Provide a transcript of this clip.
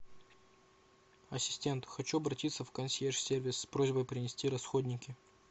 ассистент хочу обратиться в консьерж сервис с просьбой принести расходники